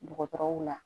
Dɔgɔtɔrɔw la